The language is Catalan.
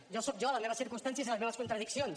jo soc jo les meves circumstàncies i les meves contradiccions